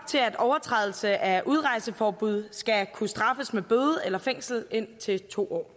til at overtrædelse af udrejseforbud skal kunne straffes med bøde eller fængselsstraf indtil to år